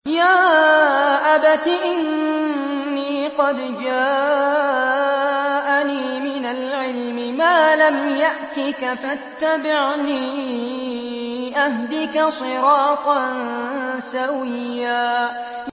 يَا أَبَتِ إِنِّي قَدْ جَاءَنِي مِنَ الْعِلْمِ مَا لَمْ يَأْتِكَ فَاتَّبِعْنِي أَهْدِكَ صِرَاطًا سَوِيًّا